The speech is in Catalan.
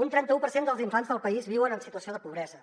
un trenta un per cent dels infants del país viuen en situació de pobresa